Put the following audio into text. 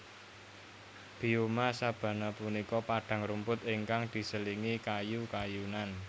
Bioma sabana punika padang rumput ingkang diselingi kayu kayunan